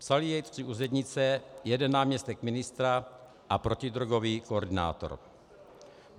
Psali jej tři úřednice, jeden náměstek ministra a protidrogový koordinátor.